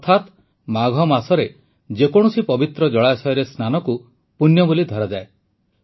ଅର୍ଥାତ୍ ମାଘ ମାସରେ ଯେ କୌଣସି ପବିତ୍ର ଜଳାଶୟରେ ସ୍ନାନକୁ ପୂଣ୍ୟ ବୋଲି ଧରାଯାଏ